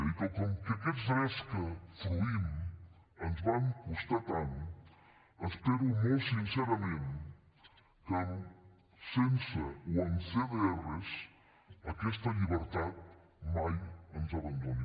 i com que aquests drets que fruïm ens van costar tant espero molt sincerament que sense o amb cdrs aquesta llibertat mai ens abandoni